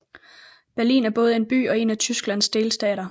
Berlin er både en by og en af Tysklands delstater